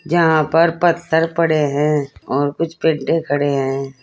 यहां पर पत्थर पड़े हैं और कुछ पेडे खड़े हैं।